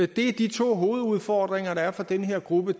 det er de to hovedudfordringer der er for den her gruppe